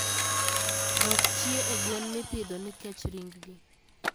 Dok chie e gwen mipidho ni kench ring gi.